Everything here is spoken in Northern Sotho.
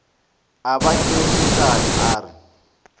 a ba kekeetšane a re